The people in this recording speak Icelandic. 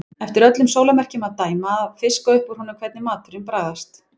Eftir öllum sólarmerkjum að dæma að fiska upp úr honum hvernig maturinn bragðaðist.